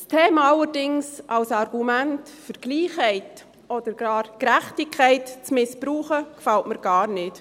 Das Thema allerdings als Argument für Gleichheit oder gar Gerechtigkeit zu missbrauchen, gefällt mir gar nicht.